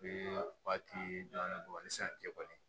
waati damadɔ ni